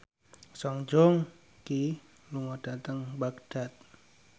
Song Joong Ki lunga dhateng Baghdad